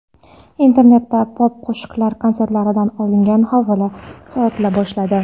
Internetda pop-qo‘shiqchilar konsertlaridan olingan havo sotila boshladi.